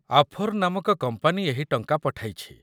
ଆଫୋର୍ ନାମକ କମ୍ପାନୀ ଏହି ଟଙ୍କା ପଠାଇଛି